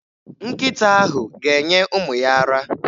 Nkịta ahụ ga-enye ụmụ ya ara.